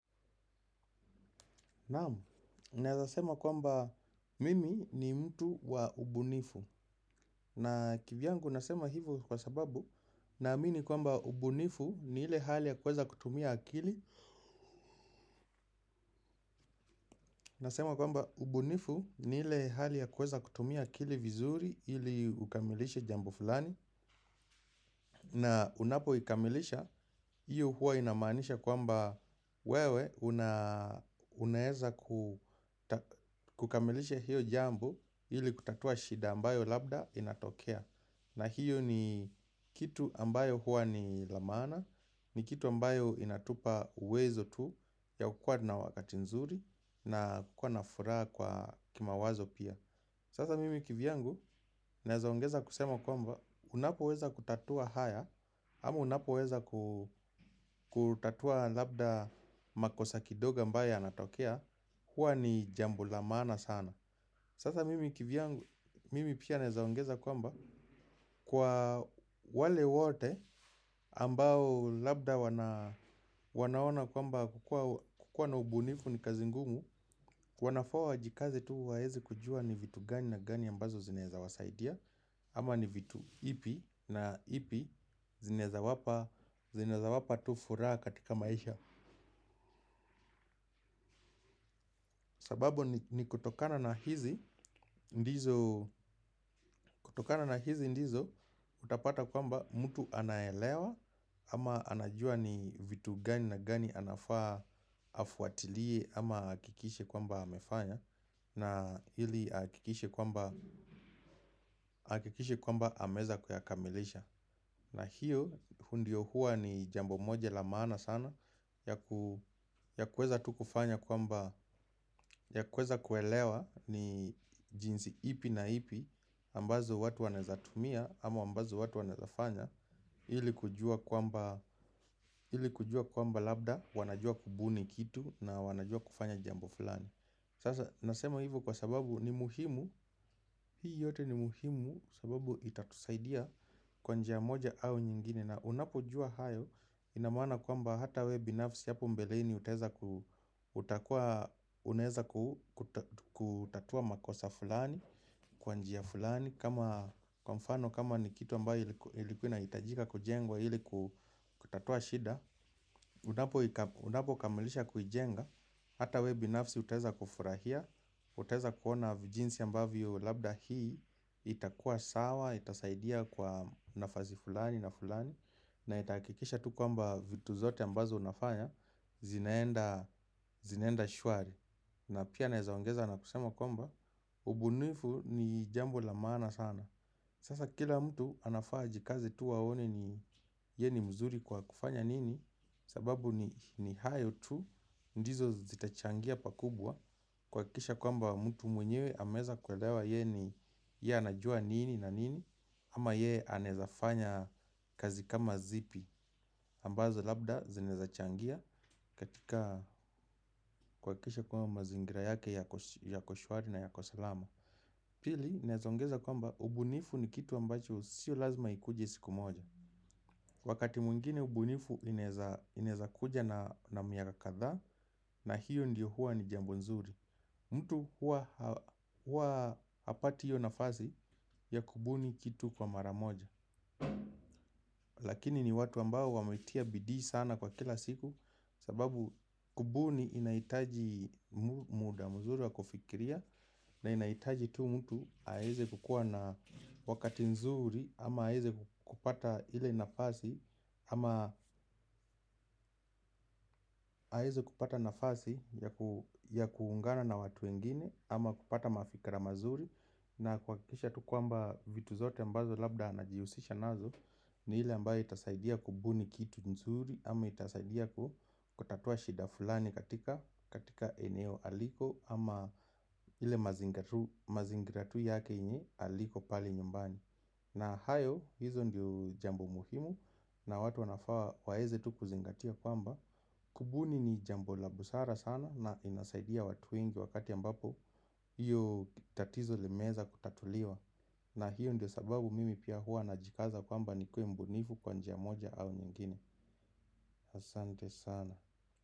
Naamu, neazasema kwamba mimi ni mtu wa ubunifu na kivyangu nasema hivo kwa sababu naamini kwamba ubunifu ni ile hali ya kweza kutumia akili. Nasema kwamba ubunifu ni ile hali ya kweza kutumia akili vizuri ili ukamilishe jambo fulani. Na unapo ikamilisha, hiyo huwa inamanisha kwamba wewe unaeza kukamilisha hiyo jambi ili kutatua shida ambayo labda inatokea. Na hiyo ni kitu ambayo huwa ni la maana, ni kitu ambayo inatupa uwezo tu ya kukua na wakati nzuri na kukua na furaha kwa kimawazo pia. Sasa mimi kivyangu, nezaongeza kusema kwamba, unapo weza kutatua haya, ama unapo weza kutatua labda makosakidogo ambayo ya natokea, hua ni jambo la maana sana. Sasa mimi kivyangu, mimi pia nezaongeza kwamba kwa wale wote ambao labda wanaona kwamba kukua na ubunifu ni kazingungu. Wanafaa wajikaze tu waezi kujua ni vitu gani na gani ambazo zineza wasaidia. Ama ni vitu ipi na ipi zinezawapa tu furaha katika maisha. Sababu ni kutokana na hizi ndizo utapata kwamba mtu anaelewa ama anajua ni vitu gani na gani anafaa nifuatilie ama akikishe kwamba amefanya ili akikishe kwamba ameweza kuyakamilisha. Na hiyo hiyo ndio hua ni jambo moja lamana sana ya kweza tu kufanya kwa mba ya kweza kuelewa ni jinsi ipi na ipi ambazo watu wanezatumia ama ambazo watu wanezafanya ili kujua kwamba labda wanajua kubuni kitu na wanajua kufanya jambo fulani. Nasema hivi kwa sababu ni muhimu. Hii yote ni muhimu sababu itatusaidia kwa njia moja au nyingine na unapo jua hayo inamaana kwamba hata webinafsi yapu mbeleni. Uteza kutatua makosa fulani kwanjia fulani. Kama kwamfano kama ni kitu ambayo ilikuina itajika kujengwa iliku kutatua shida. Unapo kamilisha kujenga hata webinafsi utaeza kufurahia uteza kuona vijinsi ambavyo labda hii. Itakuwa sawa, itasaidia kwa nafazi fulani na fulani. Na itakikisha tu kwamba vitu zote ambazo unafanya. Zinaenda shwari na pia naezaongeza na kusema kwamba ubunifu ni jambo la maana sana. Sasa kila mtu anafaa jikazi tu waone ni ye ni mzuri kwa kufanya nini. Sababu ni hayo tu. Ndizo zitachangia pakubwa. Kwa kisha kwamba mtu mwenyewe hameza kwelewa ye ni ya najua nini na nini. Ama ye anezafanya kazi kama zipi ambazo labda zinaezachangia katika kuwakikisha kwamba zingira yake ya koshwari na ya kosalama pili naeza kwamba ubunifu ni kitu ambacho sio lazima ikuje siku moja. Wakati mwingine ubunifu inezakuja na miaka kadha na hiyo ndiyo huwa ni jambo nzuri. Mtu hua hapati hiyo nafasi ya kubuni kitu kwa maramoja. Lakini ni watu ambao wametia bidii sana kwa kila siku. Sababu kubuni inaitaji muda mzuri wa kufikiria na inaitaji tu mtu aeze kukua na wakati nzuri ama aeze kupata hile nafasi ama aeze kupata nafasi ya kuungana na watu wengine ama kupata mafikra mazuri na kuakikisha kwamba vitu zote ambazo anajihusisha nazo. Ni hile ambayo itasaidia kubuni kitu nzuri. Ama itasaidia kutatua shida fulani katika eneo aliko. Ama hile mazingira tu yake inye aliko pale nyumbani. Na hayo hizo ndio jambo muhimu. Na watu wanafaa waeze tu kuzingatia kwamba kubuni ni jambo la busara sana na inasaidia watu wengi wakati ambapo hiyo tatizo limeza kutatuliwa. Na hiyo ndio sababu mimi pia hua na jikaza kwamba ni kue mbonifu kwa njia moja au nyingine asande sana.